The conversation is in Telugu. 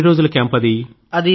ఎన్ని రోజుల క్యాంప్ అది